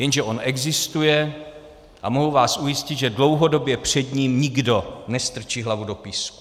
Jenže on existuje a mohu vás ujistit, že dlouhodobě před ním nikdo nestrčí hlavu do písku.